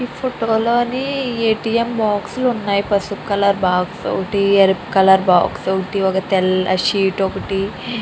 ఈ ఫోటో లోని A T M box లు వున్నాయ్ పసుపు కలర్ బాక్స్ ఒకటి ఎరుపు కలర్ బాక్స్ ఒకటి ఒక తెల్ల షీట్ ఒకటి --